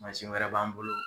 Mansin wɛrɛ b'an bolo